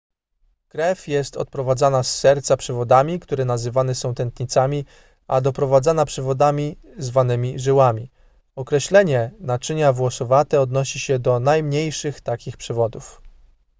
krew jest odprowadzana z serca przewodami które nazywane są tętnicami a doprowadzana przewodami zwanymi żyłami określenie naczynia włosowate odnosi się do najmniejszych takich przewodów